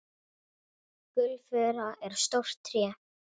Gulfura er stórt tré.